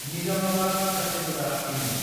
Nizamabad Kacheguda डिमु